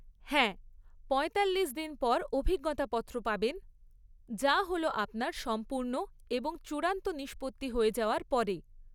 হ্যাঁ, পঁয়তাল্লিশ দিন পর অভিজ্ঞতা পত্র পাবেন, যা হল আপনার সম্পূর্ণ এবং চূড়ান্ত নিষ্পত্তি হয়ে যাওয়ার পরে।